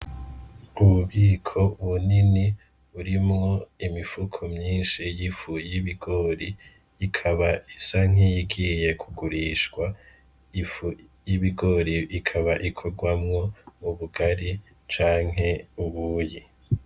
Ububiko bunini burimwo imifuko myishi y'ifu y'ibigori ikaba isa nkiyigiye kugurishwa ,ifu y'ibigori ikaba ikorwamwo ubugari canke ubuyi.